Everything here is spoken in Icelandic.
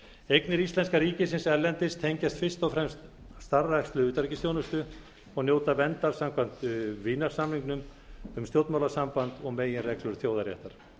eignir íslenska ríkisins erlendis tengjast fyrst og fremst starfrækslu utanríkisþjónustu og njóta verndar samkvæmt vínarsamningnum um stjórnmálasamband og meginreglum þjóðaréttar